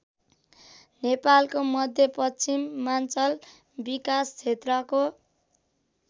नेपालको मध्यपश्चिमाञ्चल विकासक्षेत्रको